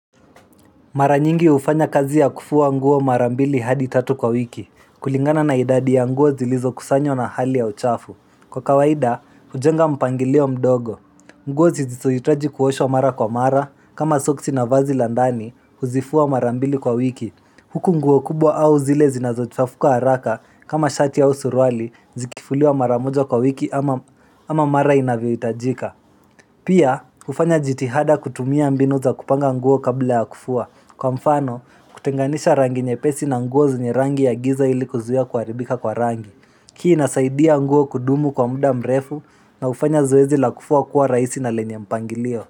Mara nyingi hufanya kazi ya kufua nguo mara mbili hadi tatu kwa wiki, kulingana na idadi ya nguo zilizo kusanywa na hali ya uchafu. Kwa kawaida, hujenga mpangilio mdogo. Nguo zisizohitaji kuoshwa mara kwa mara, kama soksi na vazi la ndani, huzifua mara mbili kwa wiki. Huku nguo kubwa au zile zinazo chafuka haraka, kama shati au suruali, zikifuliwa mara moja kwa wiki ama mara inavyo hitajika. Pia, hufanya jitihada kutumia mbinu za kupanga nguo kabla ya kufua. Kwa mfano, kutenganisha rangi nyepesi na nguo zenye rangi ya giza ili kuzuia kuharibika kwa rangi. Hii inasaidia nguo kudumu kwa muda mrefu na hufanya zoezi la kufua kuwa rahisi na lenye mpangilio.